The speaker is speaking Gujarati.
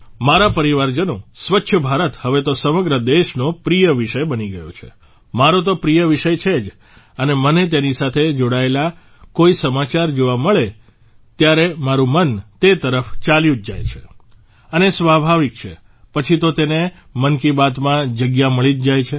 મારા પરિવારજનો સ્વચ્છ ભારત હવે તો સમગ્ર દેશનો પ્રિય વિષય બની ગયો છે મારો તો પ્રિય વિષય છે જ અને મને તેની સાથે જોડાયેલા કોઇ સમાચાર જેવા મળે છે ત્યારે મારું મન તે તરફ ચાલ્યું જ જાય છે અને સ્વાભાવિક છે પછી તો તેને મન કી બાત માં જગ્યા મળી જ જાય છે